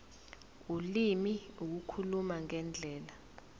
ulimi ukukhuluma ngendlela